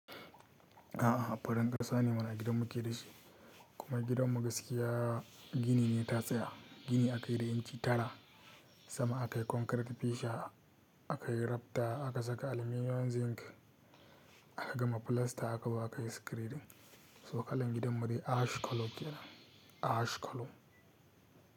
A'a farin ƙasa ne mana gidan muke da shi, kuma gidan mu gaskiya gini ne ta tsaya. Gini akai da inci tara, sama akai concrete fesha, akai rafta aka saka aluminum zinc, aka gama plasta aka zo aka yi screading. To kalan gidan mu dai ash color kenab, ash color.